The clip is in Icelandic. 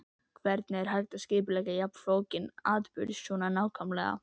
Hvernig er hægt að skipuleggja jafn flókinn atburð svo nákvæmlega?